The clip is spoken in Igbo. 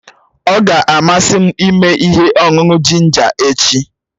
Ọ ga-amasị m ịme ihe ọṅụṅụ jinja echi.